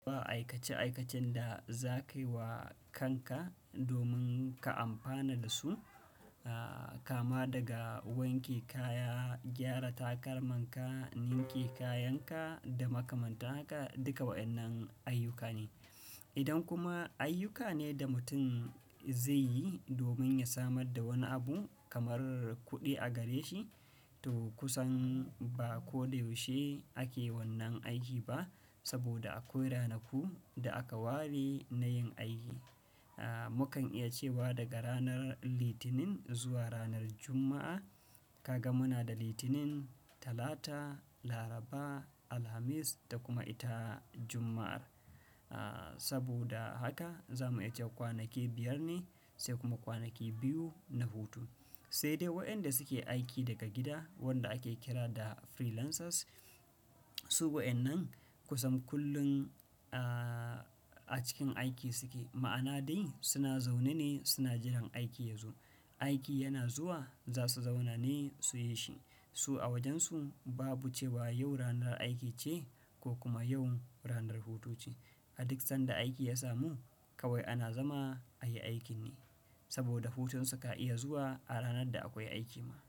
Ba aikace-aikacen da za ka yi wa kanka domin ka amfana da su, ah kama daga wanke kaya, gyara takalmanka, ninke kayanka da makamanta haka, duka waɗannan ayyuka ne. Idan kuma ayyuka ne da mutum zai yi domin ya samar da wani abu kamar kuɗi a gare shi, to kusan ba ko da yaushe ake wannan aiki ba saboda akwai ranaku da aka ware na yin aiki. Ah, mu kan iya cewa daga ranar Litinin zuwa ranar Juma'a. Kaga muna da Litinin, Talata, Laraba, Alhamis da kuma ita Juma'ar. Ah, saboda haka za mu iya cewa kwanaki biyar ne sai kuma kwanaki biyu na hutu. Sai dai wadanda suke aiki daga gida wadanda ake kira da freelancers. Su waɗannan kusan kullum a cikin aiki suke. Ma'ana dai suna zaune ne suna jiran aiki yazo. Aiki yana zuwa za su zauna ne su yi shi. Su a wajen su babu cewa yau ranar aiki ce ko kuma yau ranar hutu ce. A duk sanda aiki ya samu kawai ana zama ayi aikin ne saboda hutunsu ka iya zuwa a ranar da akwai aiki ma.